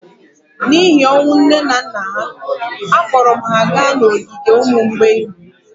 n’ihi ọnwụ nne na nna ha, akpọrọ m ha gaa n’ogige ụmụ mgbei